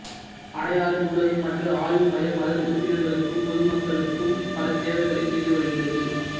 அடையாறு நூலகம் மற்றும் ஆய்வு மையம் அதன் உறுப்பினர்களுக்கும் பொதுமக்களுக்கும் பல சேவைகளைச் செய்து வருகிறது